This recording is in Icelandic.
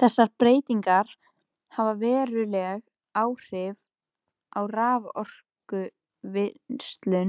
Þessar breytingar hafa veruleg áhrif á raforkuvinnslu